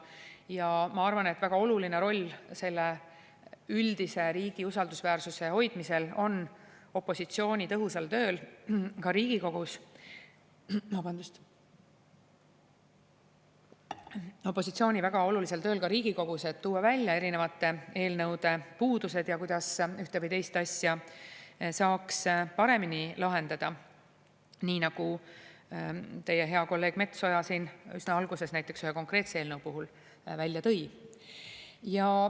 Ja ma arvan, et väga oluline roll üldise riigi usaldusväärsuse hoidmisel on ka opositsiooni tõhusal tööl Riigikogus, et tuua välja erinevate eelnõude puudused ja kuidas ühte või teist asja saaks paremini lahendada, nii nagu näiteks teie hea kolleeg Metsoja siin üsna alguses ühe konkreetse eelnõu puhul välja tõi.